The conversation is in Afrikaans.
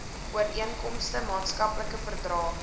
ooreenkomste maatskaplike verdrae